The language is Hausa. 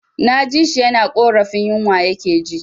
Na ji shi yana ƙorafin yinwa ya ke ji